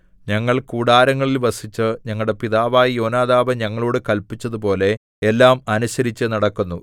ഞങ്ങൾ കൂടാരങ്ങളിൽ വസിച്ച് ഞങ്ങളുടെ പിതാവായ യോനാദാബ് ഞങ്ങളോടു കല്പിച്ചതുപോലെ എല്ലാം അനുസരിച്ചുനടക്കുന്നു